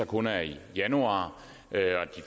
kun er i januar